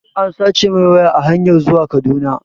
An sace mai waya a hanyar zuwa Kaduna